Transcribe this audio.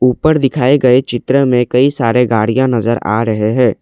ऊपर दिखाए गए चित्र में कई सारे गाड़ियां नजर आ रहे हैं।